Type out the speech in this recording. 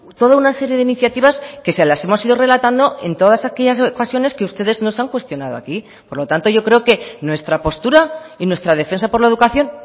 toda una serie de iniciativas que se las hemos ido relatando en todas aquellas ocasiones que ustedes nos han cuestionado aquí por lo tanto yo creo que nuestra postura y nuestra defensa por la educación